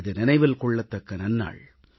இது நினைவில் கொள்ளத்தக்க நன்னாள்